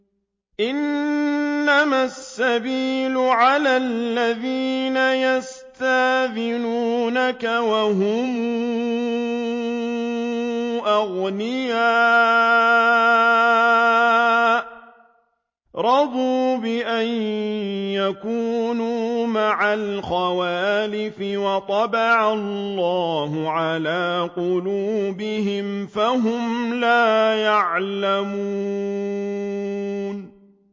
۞ إِنَّمَا السَّبِيلُ عَلَى الَّذِينَ يَسْتَأْذِنُونَكَ وَهُمْ أَغْنِيَاءُ ۚ رَضُوا بِأَن يَكُونُوا مَعَ الْخَوَالِفِ وَطَبَعَ اللَّهُ عَلَىٰ قُلُوبِهِمْ فَهُمْ لَا يَعْلَمُونَ